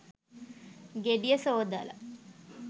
ගෙඩිය සෝදලා